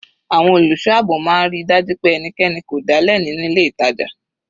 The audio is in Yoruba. Àwọn olùṣọ́ àbò máa ń ríi dájú pé ẹnikẹni kò dálẹ̀ nínú ilé ìtàjà.